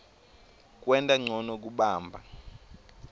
kwenta ncono kubamba